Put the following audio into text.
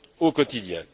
au quotidien.